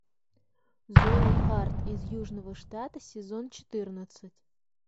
зои харт из южного штата сезон четырнадцать